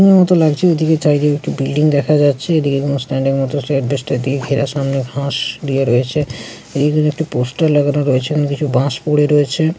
উ মত লাগছে। ওদিকে চারিদিকে একটু বিল্ডিং দেখা যাচ্ছে। এদিকে কোন স্ট্যান্ডের মতো এসবেসটস দিয়ে ঘেরা। সামনে ঘাস দেওয়া রয়েছে। একটা পোস্টার লাগানো রয়েছে এবং কিছু বাঁশ পরে রয়েছে।